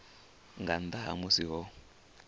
nga nnḓa ha musi ho